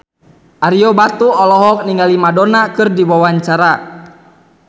Ario Batu olohok ningali Madonna keur diwawancara